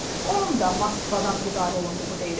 Onun da Moskvadan idarə olunduğu deyilir.